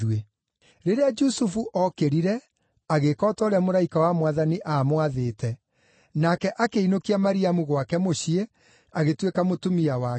Rĩrĩa Jusufu ookĩrire, agĩĩka o ta ũrĩa mũraika wa Mwathani aamwathĩte, nake akĩinũkia Mariamu gwake mũciĩ, agĩtuĩka mũtumia wake.